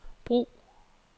brug